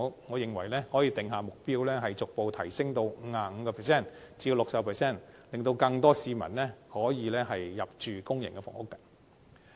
我們可以訂下目標，逐步將比例提升至 55% 至 60%， 令更多市民可以入住公營房屋。